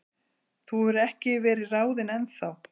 Þú hefur ekki verið ráðinn ennþá.